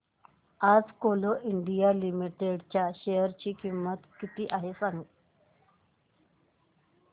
आज Coal India Limited च्या share ची किंमत किती आहे